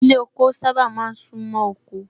Ilé ọkọ sábà máa ń sún mọ́ oko